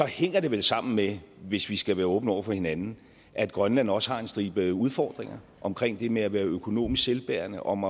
hænger det vel sammen med hvis vi skal være åbne over for hinanden at grønland også har en stribe udfordringer omkring det med at være økonomisk selvbærende om